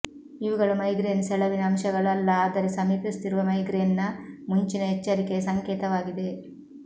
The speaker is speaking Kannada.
ಇವುಗಳು ಮೈಗ್ರೇನ್ ಸೆಳವಿನ ಅಂಶಗಳು ಅಲ್ಲ ಆದರೆ ಸಮೀಪಿಸುತ್ತಿರುವ ಮೈಗ್ರೇನ್ನ ಮುಂಚಿನ ಎಚ್ಚರಿಕೆಯ ಸಂಕೇತವಾಗಿದೆ